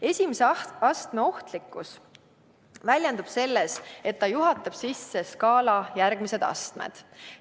Esimese astme ohtlikkus väljendub selles, et ta juhatab sisse skaala järgmised astmed.